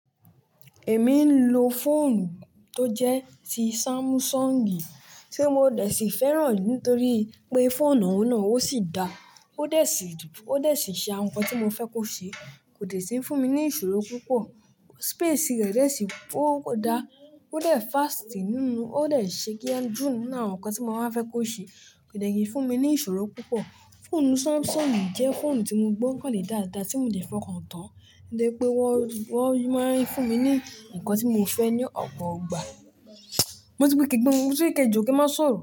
Èmi ń lo fóònù tó jẹ́ ti Samsung, tí mo dẹ̀ sí fẹ́ràn nítorí pé fóònù náà ó sì dáa, ó dẹ̀ sì, ó dẹ̀ sí ṣe àwọn ǹkan tí mo fẹ́ kó ṣe, kò dẹ̀ sí ń fún mi ní ìṣòro púpọ̀. Space rẹ̀ dẹ̀ sì ó da, ó dẹ̀ fast nínú, ó dẹ̀ ṣe kíá jù nínú àwọn ǹkan tí mo máa ń fẹ́ kó ṣe kò dẹ̀ kí ń fún mi ní ìṣòro púpọ̀. Fóònù Samsung jẹ́ fóònù tí mo gbọ́ kàn lè dáadáa tí mo lè fọkàn tán, nítorí pé wọn, wọn máa ń fún mi ní nǹkan tí mo fẹ́ ní ọ̀pọ̀ ìgbà. Mo ti ni kẹ̀ gbenu, mo ti ni ke jó kí ẹ máa sọ̀rọ̀